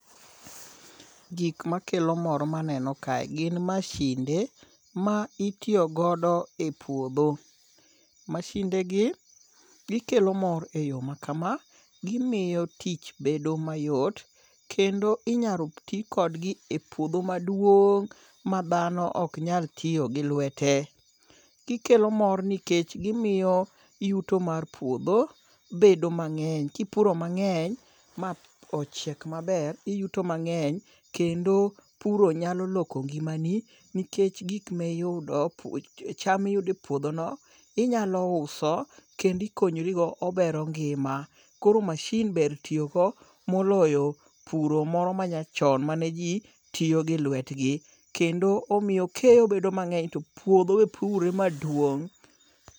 Gik makelo mor maneno kae gin masinde ma itiyo godo e puodho. Masindegi gikelo mor e yo ma kama, gimiyo tich bedo mayot, kendo inyalo ti kodgi e puodho maduong' ma dhano ok nyal tiyo gi lwete. Gikelo mor nikech gimiyo yuto mar puodho bedo mang'eny. Kipuro mang'eny ma ochiek maber, iyuto mang'eny kendo puro nyalo loko ngimani nikech cahm miyudo e puodhono ,inyalo uso kendo ikonyrigo, obero ngima. Koro masin ber tiyogo moloyo puro moro manyachon ma ne ji tiyo gi lwetgi, kendo omiyo keyo bedo mang'eny to puodho be purre maduong'.